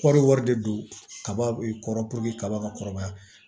Kɔri wari de don kaba kɔrɔ kaba ka kɔrɔbaya